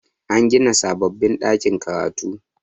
an gina sababbin ɗakin karatu